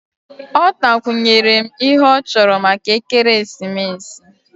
Ọ takwunyere m ihe ọ chọrọ maka ekeresimesi